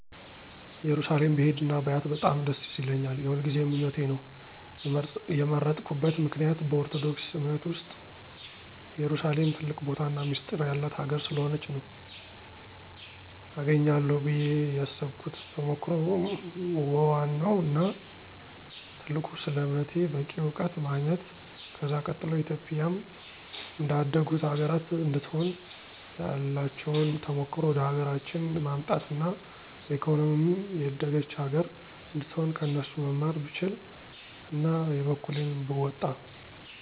እየሩሳሌም ብሄድ እና ባያት በጣም ደስ ይለኛል። የሁልጊዜ ምኞቴ ነው። የመረጥኩበት ምክንያት በኦርቶዶክስ አምነት ዉስጥ ኢየሩሳሌም ትልቅ ቦታና ሚስጢር የላት ሀገር ስለሆነች ነው። አገኛለሁ ብየ የሰብኩት ተሞክሮ ወዋናው እና ትልቁ ስለ አምነቴ በቂ አዉቀት ማግኝት። ከዛ ቀጥሎ ኢትዮጵያም እንደ አደጉት ሀገራት እንድትሆን ያላቸዉን ተሞክሮ ወደሀገራችን ማምጣት አና በኢኮኖሚም የደገች ሀገር አነድትሆን ከነሱ መማር ብችል አና የበኩሌን ብወጣ።